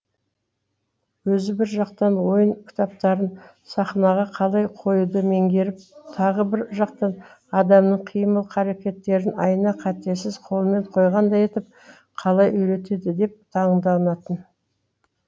өзі бір жақтан ойын кітаптарын сахнаға қалай қоюды меңгеріп тағы бір жақтан адамның қимыл қаракеттерін айна қатесіз қолмен қойғандай етіп қалай үйретеді деп таңданатын